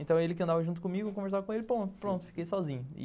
Então ele que andava junto comigo, eu conversava com ele, pronto, fiquei sozinho.